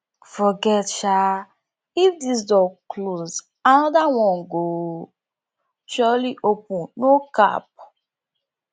forget sha if this door close anoda one go surely open no cap